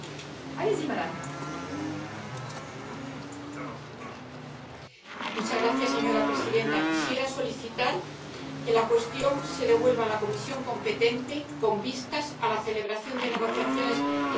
Señora presidenta, quisiera solicitar que el asunto se devuelva a la comisión competente con vistas a la celebración de negociaciones interinstitucionales, de conformidad con el artículo 59, apartado 4, del Reglamento